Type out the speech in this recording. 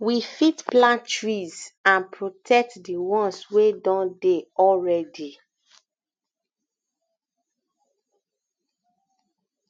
we fit plant trees and protect di ones wey don dey already already